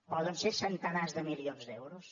poden ser centenars de milions d’euros